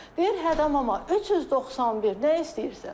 Deyir hə da mama, 391, nə istəyirsən?